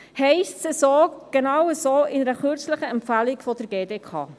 » Das steht in einer kürzlich herausgegebenen Empfehlung der GDK.